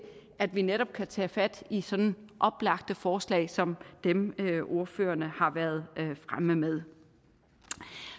at vi netop kan tage fat i sådanne oplagte forslag som dem ordførerne har været fremme med